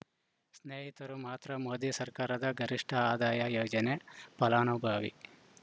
ಸ್ನೇಹಿತರು ಮಾತ್ರ ಮೋದಿ ಸರ್ಕಾರದ ಗರಿಷ್ಠ ಆದಾಯ ಯೋಜನೆ ಫಲಾನುಭವಿ